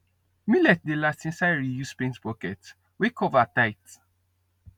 millet dey last inside reused paint bucket wey cover tight